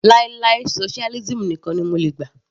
Láì láì socialism nìkan ni mo lè gbà.